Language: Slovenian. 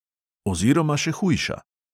Oziroma še hujša!